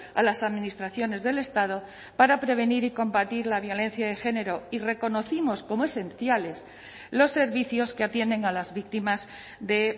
a las administraciones del estado para prevenir y combatir la violencia de género y reconocimos como esenciales los servicios que atienden a las víctimas de